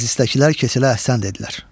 Məclisdəkilər Keçələ əhsən dedilər.